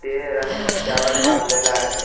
ते रंग त्यावर मारलेल आहे.